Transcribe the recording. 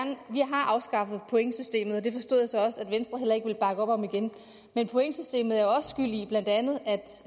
har afskaffet pointsystemet og det forstod jeg så også at venstre heller ikke ville bakke op igen men pointsystemet